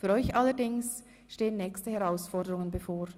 Für euch allerdings stehen nächste Herausforderungen bevor.